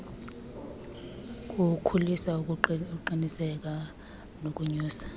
kuwukhulisa ukuqiniseka nokonyusa